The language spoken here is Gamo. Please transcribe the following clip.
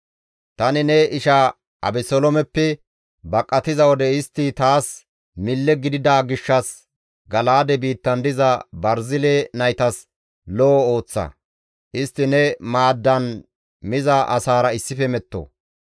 «Tani ne ishaa Abeseloomeppe baqatiza wode istti taas mille gidida gishshas Gala7aade biittan diza Barzile naytas lo7o ooththa; istti ne maaddan miza asaara issife metto.